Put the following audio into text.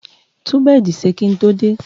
Tun bẹdì sè kiń tò dẹ!